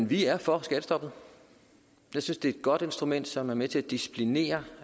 vi er for skattestoppet jeg synes det er godt instrument som er med til at disciplinere